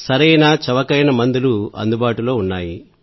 సరైన చవకైన మందులు అందుబాటులో ఉన్నాయి